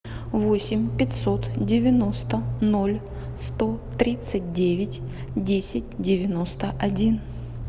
восемь пятьсот девяносто ноль сто тридцать девять десять девяносто один